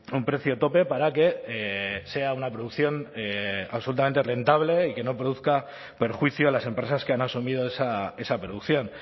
un precio tope para que sea una producción absolutamente rentable y que no produzca perjuicio a las empresas que han asumido esa producción